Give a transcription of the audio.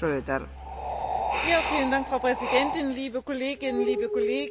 Frau Präsidentin, liebe Kolleginnen, liebe Kollegen, sehr geehrter Herr Kommissar!